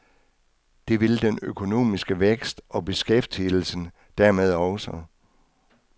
Det vil den økonomiske vækst og beskæftigelsen dermed også.